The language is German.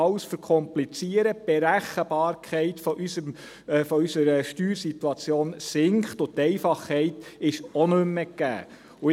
Wir verkomplizieren alles, die Berechenbarkeit unserer Steuersituation sinkt und die Einfachheit ist auch nicht mehr gegeben.